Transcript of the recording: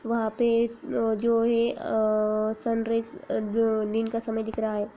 वहां पर एक जो है अअ सनराइज दिन का समय दिख रहा है।